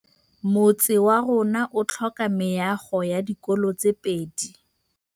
Motse warona o tlhoka meago ya dikolô tse pedi.